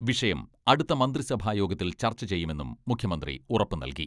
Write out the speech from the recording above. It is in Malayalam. വിഷയം അടുത്ത മന്ത്രിസഭായോഗത്തിൽ ചർച്ച ചെയ്യുമെന്നും മുഖ്യമന്ത്രി ഉറപ്പു നൽകി.